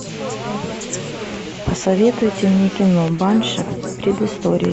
посоветуйте мне кино банши предыстория